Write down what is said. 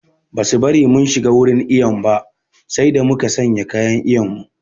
Ba su bari mun shiga wurin iyon ba sai da muka sanya kayan iyon mu